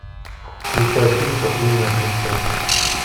включай фильм капризная принцесса